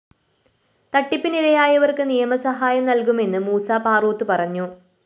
തട്ടിപ്പിനിരയായവര്‍ക്ക് നിയമ സഹായം നല്‍കുമെന്ന് മൂസ പാറോത്ത് പറഞ്ഞു